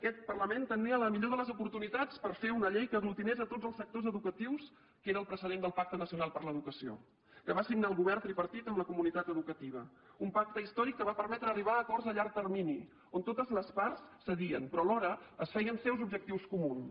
aquest parlament tenia la millor de les oportunitats per fer una llei que aglutinés tots els sectors educatius que era el precedent del pacte nacional per a l’educació que va signar el govern tripartit amb la comunitat educativa un pacte històric que va permetre arribar a acords a llarg termini on totes les parts cedien però alhora es feien seus objectius comuns